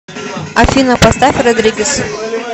афина поставь родригез